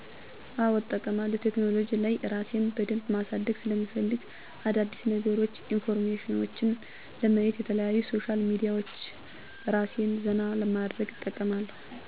አዎ እጠቀማለሁ ቴክኖሉጂ ላይ እራሴን በደንብ ማሳደግ ሰለምፈልግ አዳዲስነገሮች ኢንፎርሜሽኔችን ለማየት የተለያዩ ሶሻል ሚዲያዎች እራሴን ዘና ለማድረግ እጠቀማለሁ።